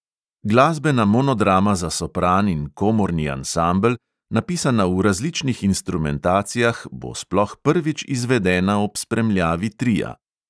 Glasbena monodrama za sopran in komorni ansambel, napisana v različnih instrumentacijah, bo sploh prvič izvedena ob spremljavi tria.